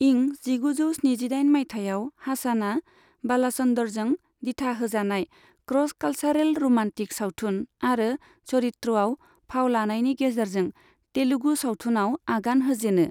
इं जिगुजौ स्निजिदाइन माइथाइयाव हासनआ बालाचन्दरजों दिथा होजानाय क्रस कालचारेल रमान्टिक सावथुन मारो चरित्रआव फाव लानायनि गेजेरजों तेलुगु सावथुनाव आगान होजेनो।